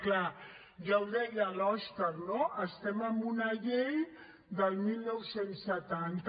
clar ja ho deia l’òscar no estem amb una llei del dinou setanta